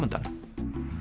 undan